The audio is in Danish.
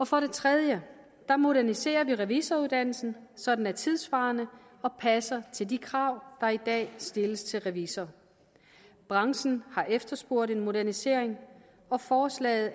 for det tredje moderniserer vi revisoruddannelsen så den er tidssvarende og passer til de krav der i dag stilles til revisorer branchen har efterspurgt en modernisering og forslaget